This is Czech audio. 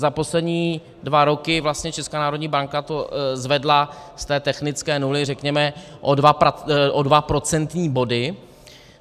Za poslední dva roky vlastně Česká národní banka to zvedla z té technické nuly řekněme o dva procentní body.